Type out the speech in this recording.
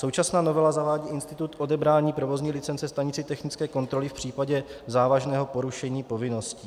Současná novela zavádí institut odebrání provozní licence stanice technické kontroly v případě závažného porušení povinností.